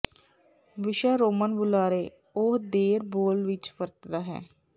ਵਿਸ਼ਾ ਰੋਮਨ ਬੁਲਾਰੇ ਉਹ ਦੇਰ ਬੋਲ ਵਿੱਚ ਵਰਤਦਾ ਹੈ